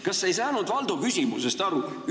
Kas sa ei saanud Valdo küsimusest aru?